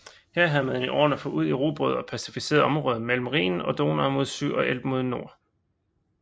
Her havde man i årene forud erobret og pacificeret området mellem Rhinen og Donau mod syd og Elben mod nord